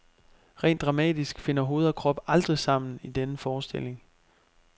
Rent dramatisk finder hoved og krop aldrig sammen i denne forestilling.